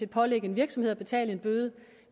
pålægge en virksomhed at betale en bøde